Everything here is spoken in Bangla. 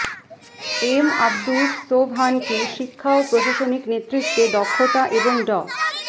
এম আব্দুস সোবহানকে শিক্ষা ও প্রশাসনিক নেতৃত্বে দক্ষতা এবং ড